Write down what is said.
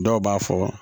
Dɔw b'a fɔ